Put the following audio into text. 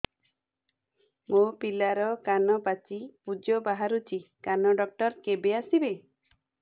ମୋ ପିଲାର କାନ ପାଚି ପୂଜ ବାହାରୁଚି କାନ ଡକ୍ଟର କେବେ ଆସିବେ